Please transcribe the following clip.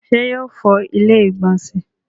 ṣé yóò fọ ilẹ́ ìgbọ̀nsẹ̀